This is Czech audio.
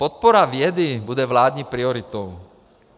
Podpora vědy bude vládní prioritou.